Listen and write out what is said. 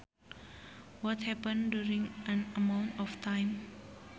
What happens during an amount of time